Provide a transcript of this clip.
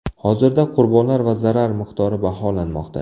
Hozirda qurbonlar va zarar miqdori baholanmoqda.